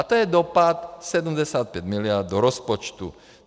A to je dopad 75 miliard do rozpočtu.